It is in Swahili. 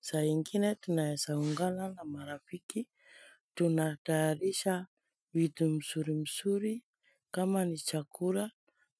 saa nyingine tunawezaungana na marafiki tunatayarisha vitu nzuri nzuri kama ni chakura